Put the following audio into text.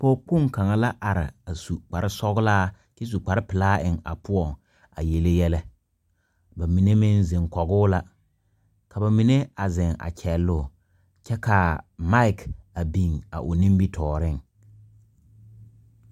Pɔg kpon kanga la arẽ a su kpare sɔglaa kye su kpare pelaa en a pou a yele yelɛ ba menne meng zeng kɔguu la ka ba menne a zeng kyelɔɔ kye kaa mike a bin a ɔ nimitoɔring.